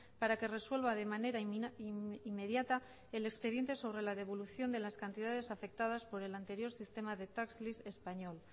para que resuelva de manera inmediata el expediente sobre la devolución de las cantidades afectadas por el anterior sistema de tax lease español